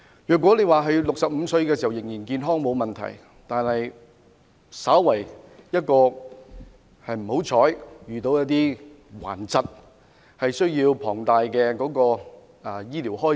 如果在65歲時仍然健康便沒有問題，但萬一不幸患上頑疾，便要應付龐大的醫療開支。